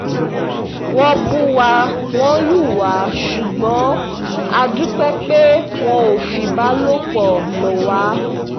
wọ́n ń bù wá wọn lù wá ṣùgbọ́n a dúpẹ́ pé wọn ò fìbálòpọ̀ lọ̀ wá